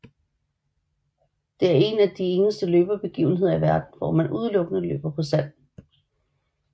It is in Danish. Det er en af de eneste løbebegivenheder i verden hvor man udelukkende løber på sand